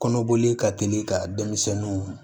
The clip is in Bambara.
Kɔnɔboli ka teli ka denmisɛnninw